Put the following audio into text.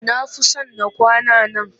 Na fi son na kwana a nan